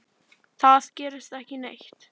Það gerist ekki neitt.